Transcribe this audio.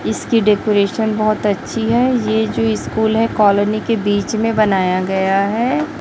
इसकी डेकोरेशन बहोत अच्छी है ये जो स्कूल है कॉलोनी के बीच में बनाया गया है।